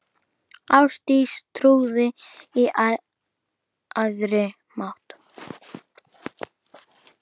Ástdís trúði á æðri mátt.